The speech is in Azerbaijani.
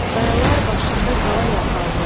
Qayalar başında qala yapardım.